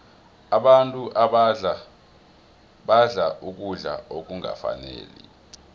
abantu badla ukudla okungafaniko